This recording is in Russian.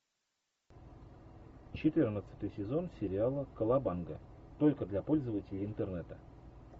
четырнадцатый сезон сериала колобанга только для пользователей интернета